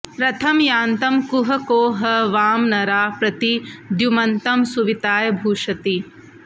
रथं यान्तं कुह को ह वां नरा प्रति द्युमन्तं सुविताय भूषति